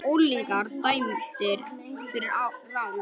Unglingar dæmdir fyrir rán